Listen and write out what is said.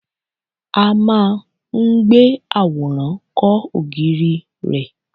A máa ń gbé àwòrán kọ́ ògiri rẹ̀.